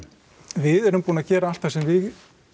við erum búin að gera allt það sem við